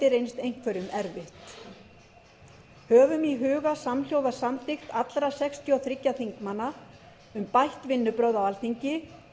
reynst einhverjum erfitt höfum í huga samhljóða samþykkt allra sextíu og þriggja þingmanna um bætt vinnubrögð á alþingi